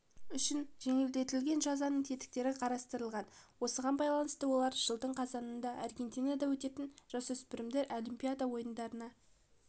үшін жеңілдетілген жазаның тетіктері қарастырылған осыған байланысты олар жылдың қазанында аргентинада өтетін жасөспірімдер олимпиада ойындарына